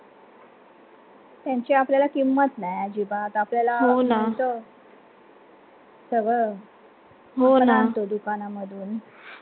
त्याची आपल्याला किंमत नाही अजिबात आपल्याला सगळं आपण आणतो दुकान मधून